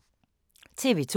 TV 2